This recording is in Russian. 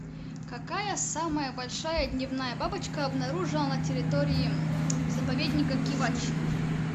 какая самая большая дневная бабочка обнаружена на территории заповедника кивач